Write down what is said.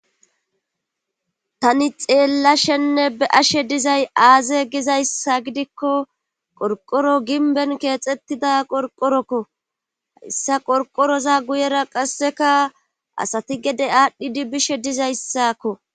tani xeellashenne be'ashe dizay aaze gizayssa gidikko qorqoro ginben keexettida qorqorokko hayssa qorqoroza guyera qasseka asati gede aadhdhidi bishe dizayssakko